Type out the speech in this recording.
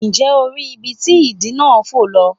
Nje o ri ibi ti idì náà fo lọ?